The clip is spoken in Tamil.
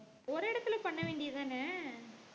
ஒரு இடத்துல பண்ண வேண்டியதுதானே